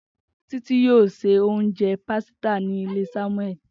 Titi yoo sẹ ounjẹ pasita ni ile Samueli.